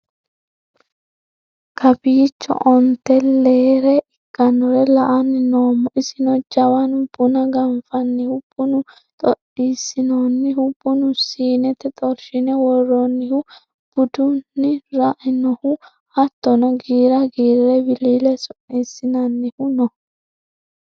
Kawicho onte leere ikkinore la"ani noommo isino jawanu buna ganfanihu, bunu xoxisiinonihu, bunu siinete xorshine woronihu, budenu ra'nohu hattono giira giire wilile su'nisi'nannihu no